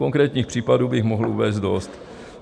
Konkrétních případů bych mohl uvést dost.